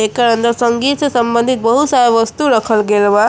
क अंदर संगीत से संबंधित बहुत सारा वस्तु रखल गइल बा।